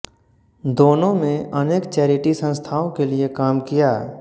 दोनों में अनेक चैरिटी संस्थाओं के लिए काम किया